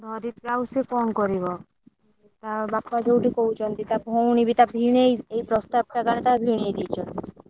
ଧରିତ୍ରୀର ଆଉ ସେ କଣ କରିବ? ତା ବାପା ଯଉଠି କହୁଛନ୍ତି ତା ଭଉଣୀବି ତା ଭିଣୋଇ ଏ ପ୍ରସ୍ତାବଟା ଜଣେ ତା ଭିଣୋଇ ଦେଇଛନ୍ତି।